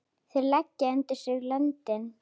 Þeir leggja undir sig löndin!